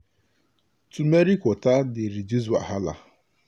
turmeric water dey reduce wahala.